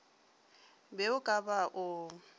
be o ka ba o